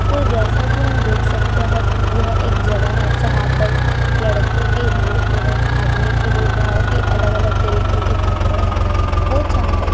तो जैसा कि हम देख सकते हैं कि यह एक जगह है जहां पर लड़कों के लिए एवं आदमियों के लिए बहुत ही अलग -अलग तरीको के कपड़े हैं वो चाहे --